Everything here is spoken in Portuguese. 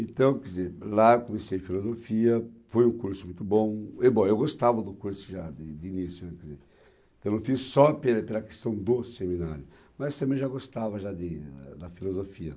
Então, quer dizer, lá comecei Filosofia, foi um curso muito bom, e bom, eu gostava do curso já de de início, né, quer dizer, eu não fiz só pela pela questão do seminário, mas também já gostava já de ah, da Filosofia.